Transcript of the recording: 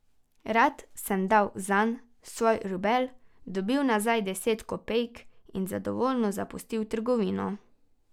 Rad sem dal zanj svoj rubelj, dobil nazaj deset kopejk in zadovoljen zapustil trgovino.